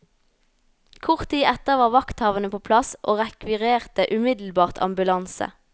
Kort tid etter var vakthavende på plass, og rekvirerte umiddelbart ambulanse.